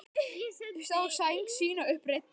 Sá sæng sína upp reidda.